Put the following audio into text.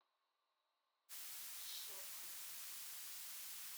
щецин